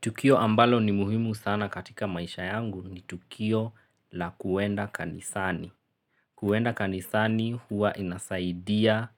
Tukio ambalo ni muhimu sana katika maisha yangu ni tukio la kuenda kanisani. Kuenda kanisani huwa inasaidia